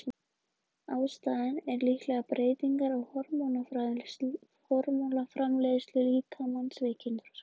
Ástæðan er líklega breytingar á hormónaframleiðslu líkamans við kynþroska.